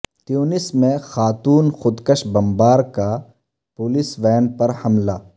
تیونس میں خاتون خود کش بمبار کا پولیس وین پر حملہ